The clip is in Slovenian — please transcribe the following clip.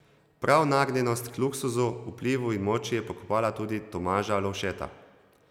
Prav nagnjenost k luksuzu, vplivu in moči je pokopala tudi Tomaža Lovšeta.